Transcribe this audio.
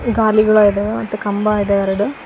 ಖಾಲಿಗೋಳ ಇದಾವೆ ಮತ್ತು ಕಂಬ ಇದಾವೆ ಎರಡು--